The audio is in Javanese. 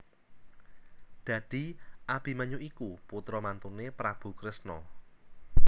Dadi Abimanyu iku putra mantuné Prabu Kresna